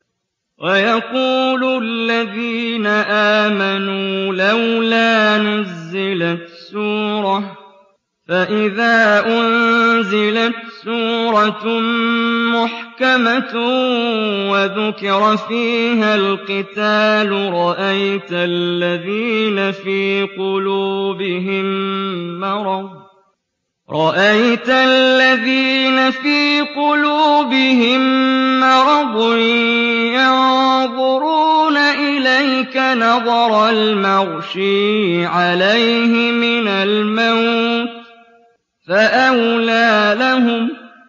وَيَقُولُ الَّذِينَ آمَنُوا لَوْلَا نُزِّلَتْ سُورَةٌ ۖ فَإِذَا أُنزِلَتْ سُورَةٌ مُّحْكَمَةٌ وَذُكِرَ فِيهَا الْقِتَالُ ۙ رَأَيْتَ الَّذِينَ فِي قُلُوبِهِم مَّرَضٌ يَنظُرُونَ إِلَيْكَ نَظَرَ الْمَغْشِيِّ عَلَيْهِ مِنَ الْمَوْتِ ۖ فَأَوْلَىٰ لَهُمْ